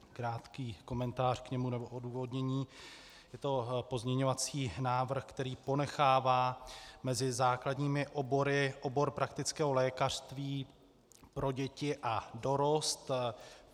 Krátký komentář k němu nebo odůvodnění: Je to pozměňovací návrh, který ponechává mezi základními obory obor praktického lékařství pro děti a dorost.